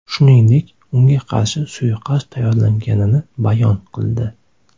Shuningdek, unga qarshi suiqasd tayyorlanganini bayon qildi.